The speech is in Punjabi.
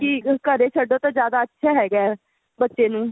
ਕੀ ਘਰੇ ਛੱਡੋ ਤਾਂ ਜਿਆਦਾ ਅੱਛਾ ਹੈਗਾ ਏ ਬੱਚੇ ਨੂੰ